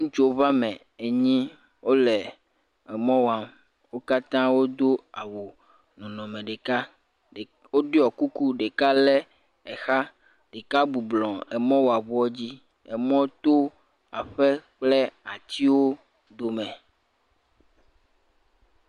Ŋutsuwo ƒe ame enyi wole emɔ wam, wo katã wodo awu nɔnɔme ɖeka, ɖe..woɖɔ kuku, ɖeka lé exa, ɖeka bɔbɔnɔ emɔwɔŋua dzi, emɔ to aƒe kple atiwo dome.